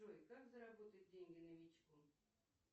джой как заработать деньги на мечту